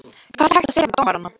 Hvað er hægt að segja við dómarana?